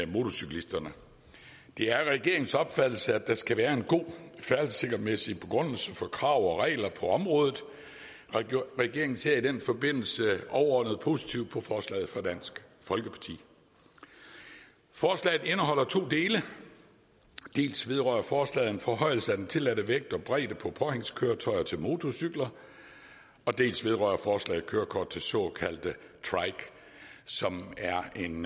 motorcyklisterne det er regeringens opfattelse at der skal være en god færdselssikkerhedsmæssig begrundelse for krav og regler på området og regeringen ser i den forbindelse overordnet positivt på forslaget fra dansk folkeparti forslaget indeholder to dele dels vedrører forslaget en forhøjelse af den tilladte vægt og bredde på påhængskøretøjer til motorcykler dels vedrører forslaget kørekort til den såkaldte trike som er en